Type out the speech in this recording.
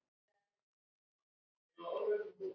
Svana og Gunnar.